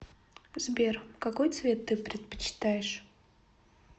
сбер какой цвет ты предпочитаешь